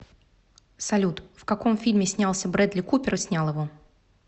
салют в каком фильме снялся брэдли купер и снял его